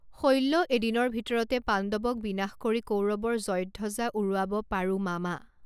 শল্য এদিনৰ ভিতৰতে পাণ্ডৱক বিনাশ কৰি কৌৰৱৰ জয়ধ্বজা উৰাব পাৰোঁ মামা!